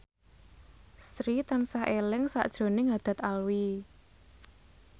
Sri tansah eling sakjroning Haddad Alwi